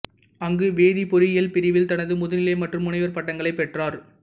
அங்கு வேதிப் பொறியியல் பிரிவில் தனது முதுநிலை மற்றும் முனைவர் பட்டங்களைப் பெற்றார்